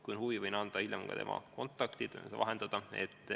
Kui on huvi, võin hiljem anda tema kontaktid või vahendaja olla.